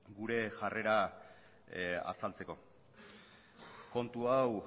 gure jarrera azaltzeko kontu hau